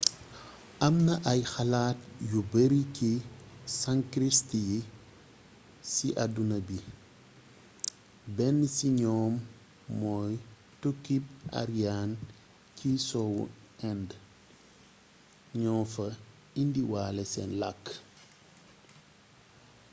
amna ay xalaat yu bari si sanskrit si aduna bi benn si ñoom moy tukkib aryan ci soowu inde ño fa indiwale sen lakk